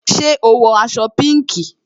Ṣé o wọ aṣọ pinki?